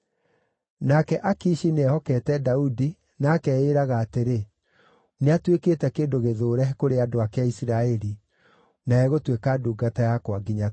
Nake Akishi nĩehokete Daudi na akeĩraga atĩrĩ, “Nĩatuĩkĩte kĩndũ gĩthũũre kũrĩ andũ ake a Isiraeli, na egũtuĩka ndungata yakwa nginya tene.”